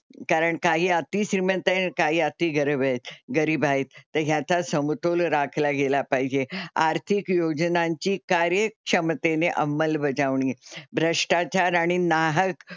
कारण काही अतिश्रीमंत आहेत, काही अति गरीबी आहेत गरीब आहेत तर ह्याचा समतोल राखला गेला पाहिजे. आर्थिक योजनांची कार्यक्षमतेने अंमलबजावणी, भ्रष्टाचार आणि नाहक,